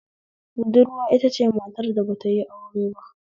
Budurwa itace matar da batayi aure ba